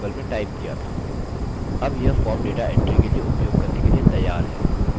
अब यह form data entry के लिए उपयोग करने के लिए तैयार है